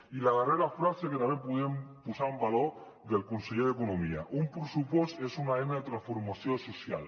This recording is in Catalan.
i la darrera frase que també volem posar en valor del conseller d’economia un pressupost és una eina de transformació social